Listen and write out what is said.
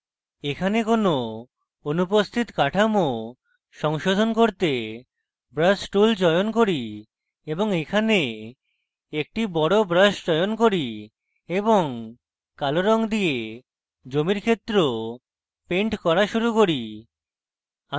এখানে কোনো অনুপস্থিত কাঠামো সংশোধন করতে brush tool চয়ন করি এবং এখানে একটি বড় brush চয়ন করি এবং কালো রঙ দিয়ে জমির ক্ষেত্র পেন্ট করা শুরু করি